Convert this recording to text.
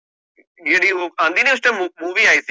ਜਿਹੜੀ ਓ ਆਂਦੀ ਨੀ ਉਸ time movie ਆਈ ਸੀਗੀ